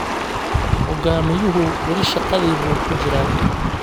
Hogaamiyuhu weli shaqadii buu ku jiraa.